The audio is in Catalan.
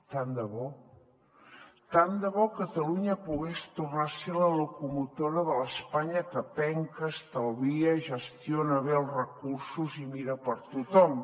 tant de bo tant de bo catalunya pogués tornar a ser la locomotora de l’espanya que penca estalvia gestiona bé els recursos i mira per a tothom